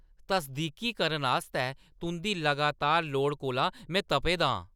तसदीकीकरण आस्तै तुंʼदी लगातार लोड़ कोला में तपे दा आं।